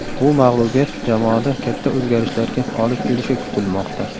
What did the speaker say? Bu mag‘lubiyat jamoada katta o‘zgarishlarga olib kelishi kutilmoqda.